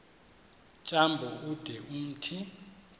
tyambo ude umthi